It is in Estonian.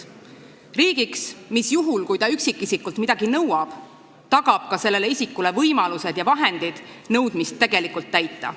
Riigi, mis, juhul kui ta üksikisikult midagi nõuab, tagab sellele isikule ka võimalused ja vahendid nõudmist tegelikult täita.